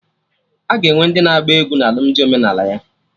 Aga enwe ndị na-agba egwu na alụmdi omenala ya